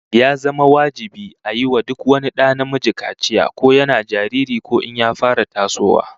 Ya zama wajibi a yi wa duk wani da namiji kaciya, ko yana jariri ko in ya fara tasowa